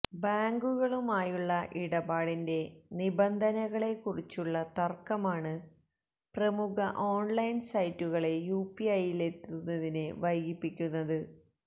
ബാങ്കുകളുമായുള്ള ഇടപാടിന്റെ നിബന്ധനകളെക്കുറിച്ചുള്ള തര്ക്കമാണ് പ്രമുഖ ഓണ്ലൈന് സൈറ്റുകളെ യുപിഐയിലെത്തുന്നതില് വൈകിപ്പിക്കുന്നത്